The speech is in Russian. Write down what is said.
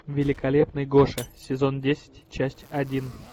великолепный гоша сезон десять часть один